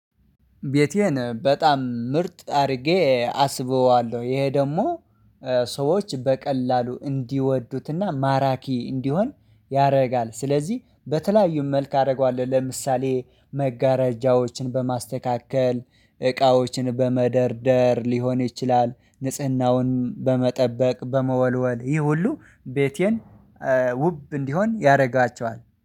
ቤቴን በጣም ምርጥ አድርጌ አስበዋለሁ ይሄ ደግሞ ሰዎች በቀላሉ እንዲወዱትና ማራኪ እንዲሆን ያደርጋል። ሥለዚህ በተለያዩ መልክ አደርገዋለሁ ለምሳሌ መጋረጃዎችን በማስተካከል እቃዎችን በመደርደር ሊሆን ይችላል። ንጽህናውን በመጠበቅ በመወልወል ይሄ ሁሉ ቤቴን ውብ እንዲሆን ያደርጋቸዋል